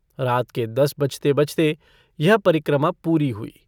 रात के दस बजते-बजते यह परिक्रमा पूरी हुई।